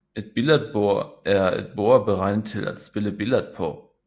Et billardbord er et bord beregnet til at spille billard på